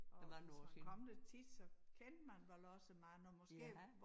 Og hvis man kom der tit så kendte man vel også mange måske